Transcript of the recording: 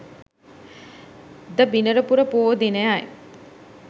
ද බිනරපුර පොහෝ දිනයයි.